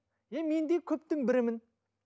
е мен де көптің бірімін